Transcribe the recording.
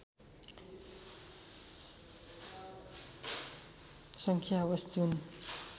सङ्ख्या होस् जुन